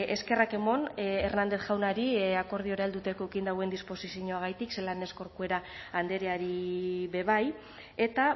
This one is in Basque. eskerrak emon hernández jaunari akordiora heltzeko eukin dauen disposizioarengatik zelan ez corcuera andreari be bai eta